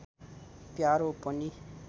प्यारो पनि